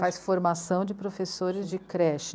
Faz formação de professores de creche.